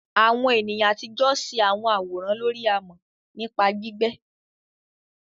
Àwọn ènìyàn àtijọ́ ṣe àwọn àwòrán lórí amọ̀ nípa gbígbẹ́.